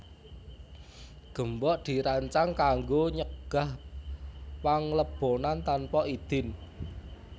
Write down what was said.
Gembok dirancang kanggo nyegah panglebonan tanpa idin